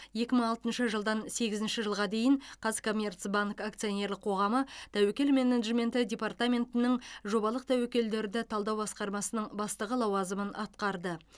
екі мың алтыншы жылдан сегізінші жылға дейін қазкоммерцбанк акционерлік қоғамы тәуекел менеджменті департаментінің жобалық тәуекелдерді талдау басқармасының бастығы лауазымын атқарды